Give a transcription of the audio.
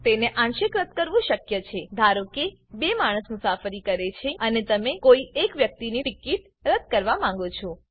તેને આંશિક રદ્દ કરવું શક્ય છે ધારો કે ૨ માણસ મુસાફરી કરે છે અને તમે કોઈ એક વ્યક્તિ ટીકીટ રદ્દ કરવા માંગો છો